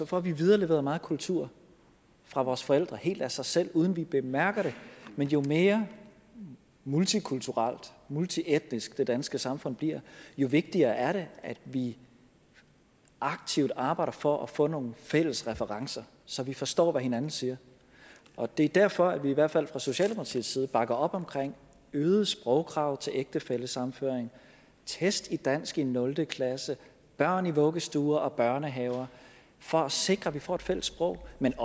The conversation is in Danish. får vi videreleveret meget kultur fra vores forældre helt af sig selv uden at vi bemærker det men jo mere multikulturelt multietnisk det danske samfund bliver jo vigtigere er det at vi aktivt arbejder for at få nogle fælles referencer så vi forstår hvad hinanden siger det er derfor vi i hvert fald fra socialdemokratiets side bakker op om øgede sprogkrav til ægtefællesammenføring test i dansk i nul klasse og børn i vuggestuer og børnehaver for at sikre at vi får et fælles sprog men